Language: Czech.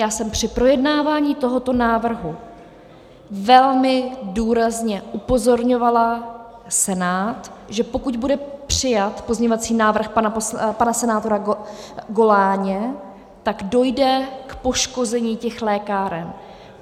Já jsem při projednávání tohoto návrhu velmi důrazně upozorňovala Senát, že pokud bude přijat pozměňovací návrh pana senátora Goláně, tak dojde k poškození těch lékáren.